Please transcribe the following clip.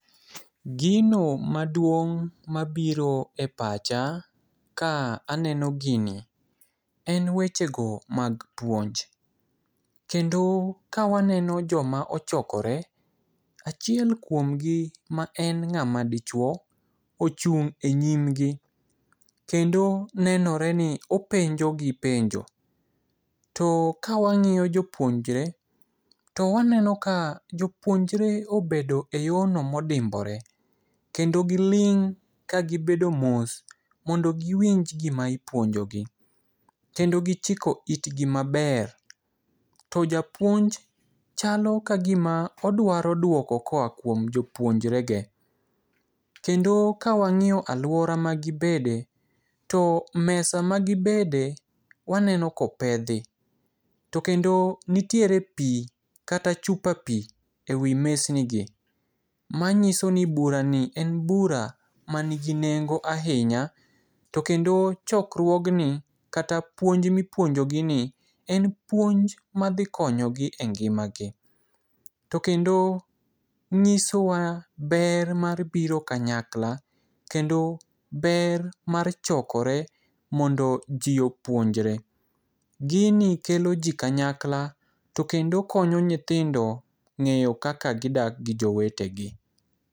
Gino maduong' mabiro e pacha ka aneno gini en wechego mag puonj. Kendo kawaneno joma ochokore, achiel kuom gi ma en ng'ama dichuo ochung' e nyimgi kendo nenore ni openjogi penjo, to kawang'iyo jopuonjre, to waneno ka jopuonjre obedo eyorno modimbore kendo giling' ka gibedo mos mondo giwinj gima ipuonjogi kendo gichiko itgi maber. To japuonj chalo kagima odwaro duoko koa kuom jopuonjrege. Kendo ka wang'iyo aluora ma gibede to mesa magibede waneno ka opedhi. To kendo nitiere pi kata chupa pi ewi mesnigi. Manyiso ni burani en bura man gi nengo ahinya to kendo chokruogni kata puonj mipuonjo gini en puonj madhi konyogi engimagi. To kendo nyisowa ber mar biro kanyakla kendo ber mar chokore mondo ji opuonjre. Gini kelo ji kanyakla to kendo konyo nyithindo e ng'eyo kaka gidak gi jowetegi.